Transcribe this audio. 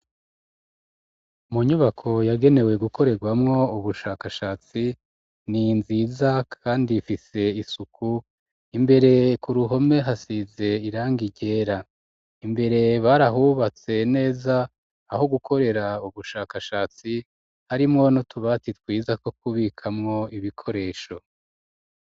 Mu nyubako yagenewe gukorerwamwo ubushakashatsi ni nziza kandi ifise isuku imbere ku ruhome hasize irangi ryera imbere barahubatse neza aho gukorera ubushakashatsi harimwo n'utubati twiza two kubikamwo ibikoresho.